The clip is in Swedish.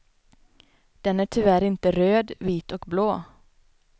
Den är tyvärr inte röd, vit och blå.